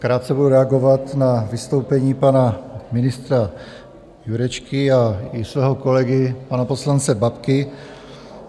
Krátce budu reagovat na vystoupení pana ministra Jurečky a i svého kolegy, pana poslance Babky.